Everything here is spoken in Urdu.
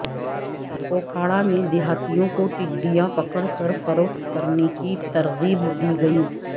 اوکاڑہ میں دیہاتیوں کو ٹڈیاں پکڑ کر فروخت کرنے کی ترغیب دی گئی